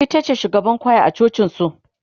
itace shugaban kwaya a cocin su